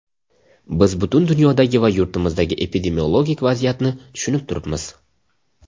Biz butun dunyodagi va yurtimizdagi epidemiologik vaziyatni tushunib turibmiz.